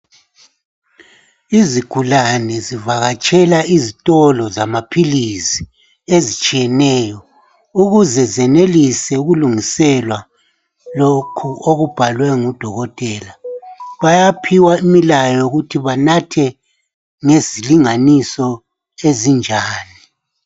Izigulani zivakatshela izitolo zamapills ukuze zenelise ukulungiselwa lokhu okubhalwe ngudokotela bayaphiwa imilayo ukuthi banethe ngezilinganiso ezinjani